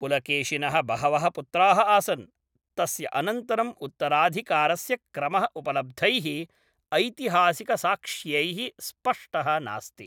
पुलकेशिनः बहवः पुत्राः आसन्, तस्य अनन्तरं उत्तराधिकारस्य क्रमः उपलब्धैः ऐतिहासिकसाक्ष्यैः स्पष्टः नास्ति।